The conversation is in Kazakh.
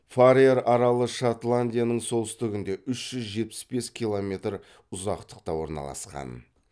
фарер аралы шотландияның солтүстігінде үш жүз жетпіс бір километр ұзақтықта орналасқан